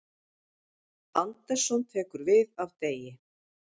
Andersson tekur við af Degi